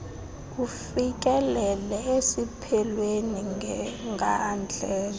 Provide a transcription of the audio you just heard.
ufikelele esiphelweni ngandlela